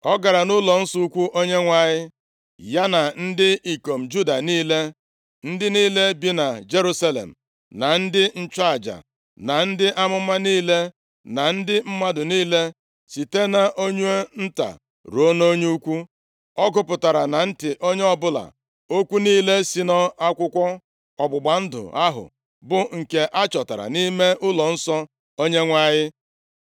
Ọ gara nʼụlọnsọ ukwu Onyenwe anyị, ya na ndị ikom Juda niile, ndị niile bi na Jerusalem, na ndị nchụaja, na ndị amụma niile, na ndị mmadụ niile, site nʼonye nta ruo na onye ukwu. Ọ gụpụtara na ntị onye ọbụla okwu niile si nʼakwụkwọ ọgbụgba ndụ ahụ, bụ nke achọtara nʼime ụlọnsọ Onyenwe anyị.